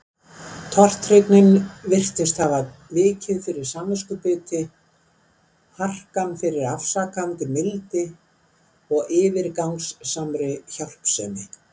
Tortryggnin virtist hafa vikið fyrir samviskubiti, harkan fyrir afsakandi mildi og yfirgangssamri hjálpsemi.